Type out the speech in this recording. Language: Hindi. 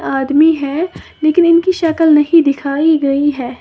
आदमी है लेकिन इनकी शकल नहीं दिखाई गई है।